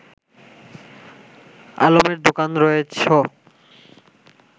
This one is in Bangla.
আলমের দোকান রয়েছ